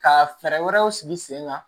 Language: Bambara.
Ka fɛɛrɛ wɛrɛw sigi sen kan